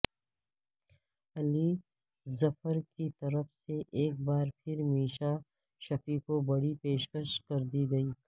علی ظفر کی طرف سے ایک بار پھر میشا شفیع کو بڑی پیشکش کردی گئی